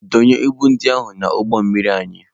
Dọnye ibu ndị ahụ n'ụgbọ mmiri anyị!